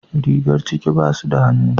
Rigar ciki basu da hannu.